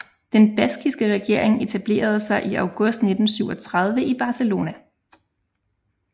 Den baskiske regering etablerede sig i august 1937 i Barcelona